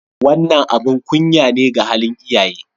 Wannan abin kunya ne ga halin iyaye.